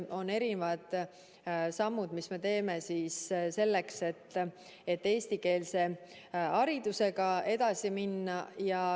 On erinevad sammud, mis me teeme selleks, et eestikeelse haridusega edasi minna.